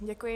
Děkuji.